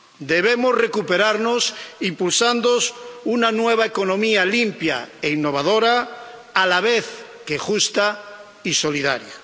Debemos recuperarnos impulsando una nueva economía limpia e innovadora, a la vez que justa y solidaria.